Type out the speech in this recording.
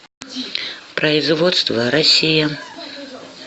производство россия